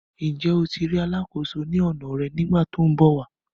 Njẹ o tí ri alàkóso ní ọna rẹ nigbati tí ọ n bọ wà?